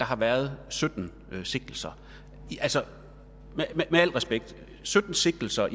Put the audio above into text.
har været sytten sigtelser altså med al respekt sytten sigtelser